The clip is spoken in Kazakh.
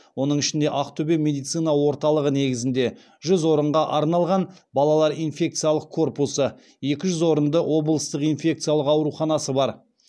оның ішінде ақтөбе медицина орталығы негізінде жүз орынға арналған балалар инфекциялық корпусы екі жүз орынды облыстық инфекциялық ауруханасы бар